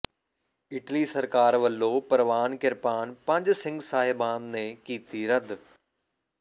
Italy ਸਰਕਾਰ ਵੱਲੋਂ ਪ੍ਰਵਾਨ ਕਿਰਪਾਨ ਪੰਜ ਸਿੰਘ ਸਾਹਿਬਾਨ ਨੇ ਕੀਤੀ ਰੱਦ